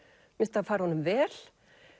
mér finnst það fara honum vel